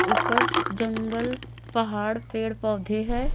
ऊपर जंगल पहाड़ पेड़ पौधे है।